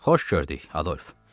Xoş gördük, Adolf.